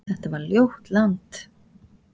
Þetta var ljótt land.